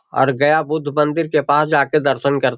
और गया बुद्ध मंदिर के पास जा के दर्शन कर --